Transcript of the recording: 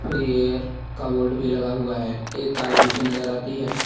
Free air का board भी लगा हुआ है एक कार पीछे नजर आती है।